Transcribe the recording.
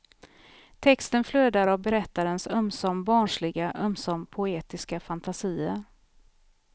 Texten flödar av berättarens ömsom barnsliga, ömsom poetiska fantasier.